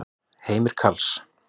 Heimir Karls.